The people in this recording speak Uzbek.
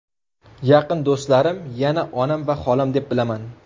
Yaqin do‘stlarim yana onam va xolam deb bilaman.